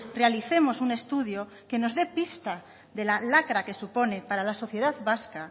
realicemos un estudio que nos dé pista de la lacra que supone para la sociedad vasca